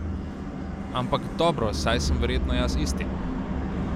Ampak dobro, saj sem verjetno jaz isti.